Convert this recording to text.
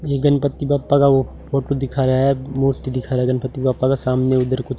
ये गणपति बप्पा का वो फोटो दिखा रहा है मूर्ति दिखा रहा है गणपति बप्पा का सामने उधर कु--